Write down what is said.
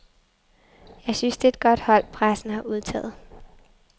Jeg synes det er et godt hold, pressen har udtaget.